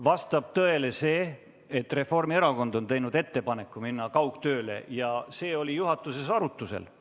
Vastab tõele see, et Reformierakond on teinud ettepaneku minna üle kaugtööle, ja see ettepanek oli juhatuses arutusel.